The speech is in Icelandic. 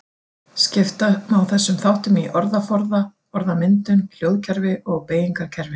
Skipta má þessum þáttum í orðaforða, orðmyndun, hljóðkerfi og beygingarkerfi.